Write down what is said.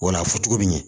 O la fɔ cogo bi ɲɛ